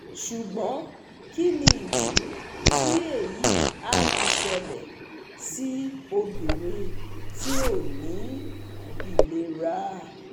Sugbon kini idi ti eyi a fi sele si obinrin ti o ni ilera?